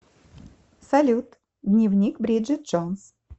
салют дневник бриджет джонс